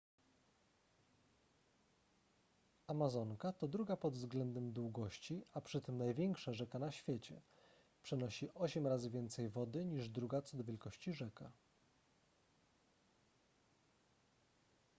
amazonka to druga pod względem długości a przy tym największa rzeka na świecie przenosi 8 razy więcej wody niż druga co do wielkości rzeka